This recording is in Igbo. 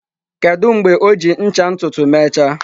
Kedu mgbe o ji ncha ntutu mechaa?